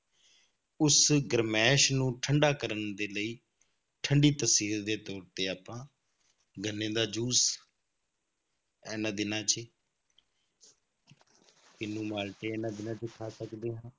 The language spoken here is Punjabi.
ਉਸ ਗਰਮੈਸ਼ ਨੂੰ ਠੰਢਾ ਕਰਨ ਦੇ ਲਈ ਠੰਢੀ ਤਸੀਰ ਦੇ ਤੌਰ ਤੇ ਆਪਾਂ ਗੰਨੇ ਦਾ ਜੂਸ ਇਹਨਾਂ ਦਿਨਾਂ 'ਚ ਹੀ ਕਿਨੂੰ ਮਾਲਟੇ ਇਹਨਾਂ ਦਿਨਾਂ 'ਚ ਹੀ ਖਾ ਸਕਦੇ ਹਾਂ,